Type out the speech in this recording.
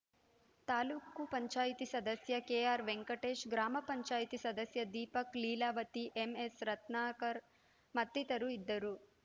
ತಾಲೂಕ್ ಪಂಚಾಯತ್ ಸದಸ್ಯ ಕೆಆರ್‌ ವೆಂಕಟೇಶ್‌ ಗ್ರಾಮ ಪಂಚಾಯತ್ ಸದಸ್ಯ ದೀಪಕ್‌ ಲೀಲಾವತಿ ಎಂಎಸ್‌ ರತ್ನಾಕರ್‌ ಮತ್ತಿತರು ಇದ್ದರು